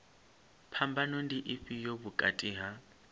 phambano ndi ifhio vhukati ha